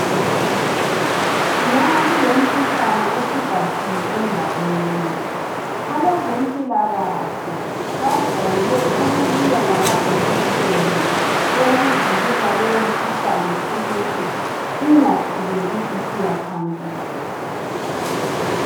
Nxa kulemikhuhlane osubhahile endaweni, abezempilakahle bajayele ukubuya lamajekiseni owokuvikela leyo umkhuhlane ukuthi ingaqhubeki isiya phambili.